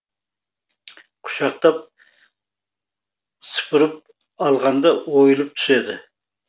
құшақтап сыпырып алғанда ойылып түседі